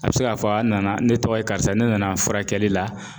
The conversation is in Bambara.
A bɛ se k'a fɔ a nana ne tɔgɔ ye karisa ne nana furakɛli la